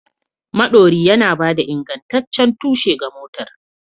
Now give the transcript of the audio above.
Maɗori yana ba da ingantaccen tushe ga motar.